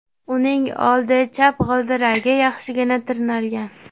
Uning old chap g‘ildiragi yaxshigina tirnalgan.